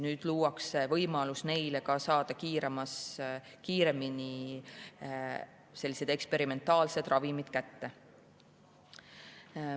Nüüd luuakse neile võimalus saada kiiremini sellised eksperimentaalsed ravimid kätte.